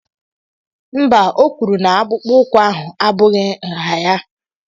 Mba, o kwuru na akpụkpọ ụkwụ ahụ abụghị nha ya.